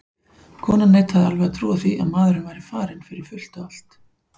Konan neitaði alveg að trúa því að maðurinn væri farinn fyrir fullt og allt.